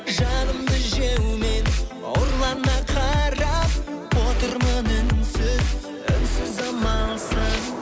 жанымды жеумен ұрлана қарап отырмын үнсіз үнсіз амалсыз